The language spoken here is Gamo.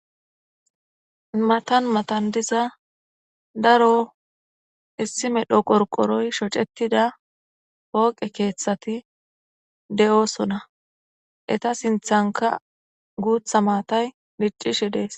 Matan matan diza daro issi medho qorqoroy shocetida pooqe keeththati de'oosona eta sinthanka guutha maatay diccishe dees.